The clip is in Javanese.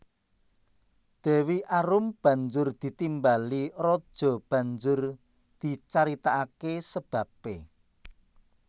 Dewi Arum banjur ditimbali raja banjur dicaritakake sababe